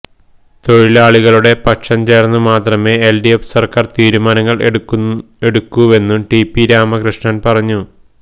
തൊഴിലാളികളുടെ പക്ഷം ചേര്ന്ന് മാത്രമേ എല്ഡിഎഫ് സര്ക്കാര് തീരുമാനങ്ങള് എടുക്കൂവെന്നും ടി പി രാമകൃഷ്ണന് പറഞ്ഞു